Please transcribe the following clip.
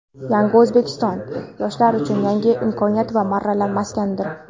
"Yangi O‘zbekiston" - yoshlar uchun yangi imkoniyat va marralar maskanidir.